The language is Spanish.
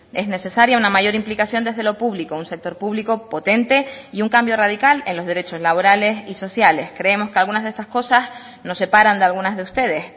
es necesaria una mayor implicación desde lo público un sector público potente y un cambio radical en los derechos laborales y sociales creemos que algunas de estas cosas nos separan de algunas de ustedes